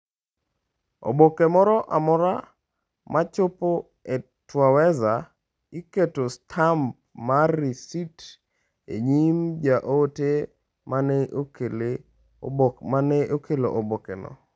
Oboke moro amora ma chopo e Twaweza, iketo stamp mar risit e nyim jaote mane okelo obokeno.